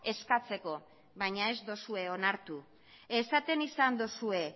eskatzeko baina ez duzue onartu esaten izan duzue